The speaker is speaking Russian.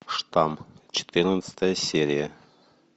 штамм четырнадцатая серия